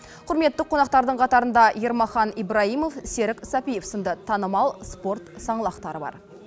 құрметті қонақтардың қатарында ермахан ибраимов серік сәпиев сынды танымал спорт саңлақтары бар